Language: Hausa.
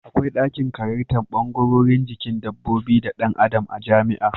Akwai dakin karantar bangarorin jikin dabbobi da Dan Adam a jamia